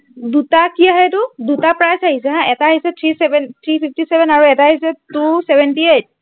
দুটা কি আহে, এইটো? দুটা price আহিছে হা, এটা আহিছে three fifty-seven আৰু এটা আহিছে two seventy-eight